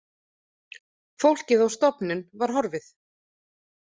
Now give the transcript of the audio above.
Fólkið á stofnun var horfið.